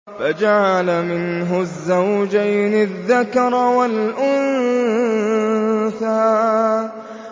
فَجَعَلَ مِنْهُ الزَّوْجَيْنِ الذَّكَرَ وَالْأُنثَىٰ